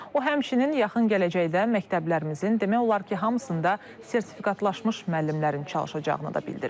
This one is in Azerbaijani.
O həmçinin yaxın gələcəkdə məktəblərimizin demək olar ki, hamısında sertifikatlaşmış müəllimlərin çalışacağını da bildirib.